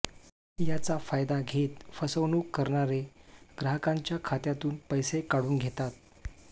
याचा फायदा घेत फसवणूक करणारे ग्राहकांच्या खात्यातून पैसे काढून घेतात